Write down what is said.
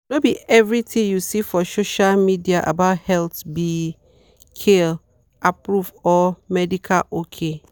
no be everything you see for social media about health be health be kyle-approved or medical ok.